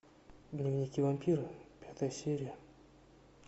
дневники вампира пятая серия